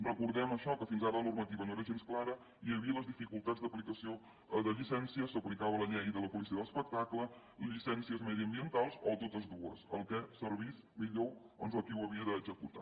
recordem això que fins ara la normativa no era gens clara hi havia les dificultats d’aplicació de llicències s’aplicava la llei de la policia de l’espectacle llicències mediambientals o totes dues el que servís millor doncs a qui ho havia d’executar